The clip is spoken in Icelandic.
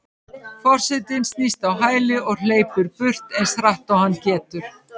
Forsetinn snýst á hæli og hleypur burt eins hratt og hann getur.